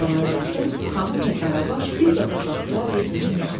Kərbəlayi Qasım, xanım və Qaravaş bir qədər baxdılar bir-birinin üzünə.